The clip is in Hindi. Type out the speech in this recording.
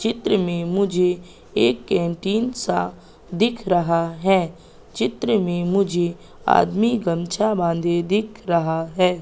चित्र में मुझे एक कैंटीन सा दिख रहा है। चित्र में मुझे आदमी गमछा बांधे दिख रहा है।